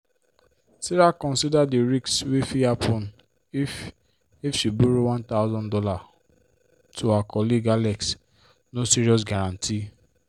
sarah consider di risk wey fit happen if if she borrow one thousand dollars to her colleague alex no serious guarantee.